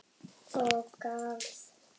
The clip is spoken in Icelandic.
Og garð.